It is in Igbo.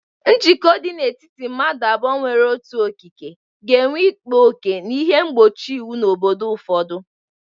Njikọ dị n'etiti madu abuo nwere otu okike ga-enwe ịkpa oke na ihe mgbochi iwu na obodo ụfọdụ.